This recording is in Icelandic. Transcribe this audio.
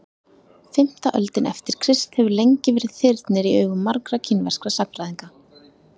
fimmta öldin eftir krist hefur lengi verið þyrnir í augum margra kínverskra sagnfræðinga